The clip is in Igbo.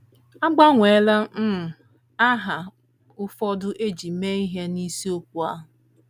A gbanweela um aha ụfọdụ e ji mee ihe n’isiokwu a.